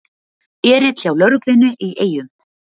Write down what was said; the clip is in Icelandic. Erill hjá lögreglunni í Eyjum